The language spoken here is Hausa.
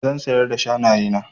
Zan siyar da shanaye na.